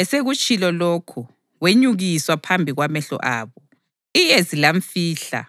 Esekutshilo lokhu, wenyukiswa phambi kwamehlo abo, iyezi lamfihla,